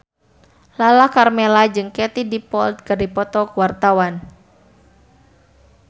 Lala Karmela jeung Katie Dippold keur dipoto ku wartawan